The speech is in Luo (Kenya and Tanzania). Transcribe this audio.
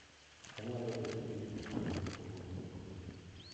Onyalo bedo gi mtokni mopogore opogore.